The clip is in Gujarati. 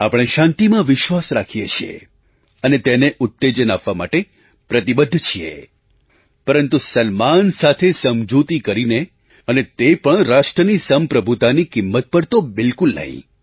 આપણે શાંતિમાં વિશ્વાસ રાખીએ છીએ અને તેને ઉત્તેજન આપવા માટે પ્રતિબદ્ધ છીએ પરંતુ સન્માન સાથે સમજૂતી કરીને અને તે પણ રાષ્ટ્રની સંપ્રભુતાની કિંમત પર તો બિલકુલ નહીં